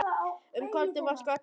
Um kvöldið var skata í matinn.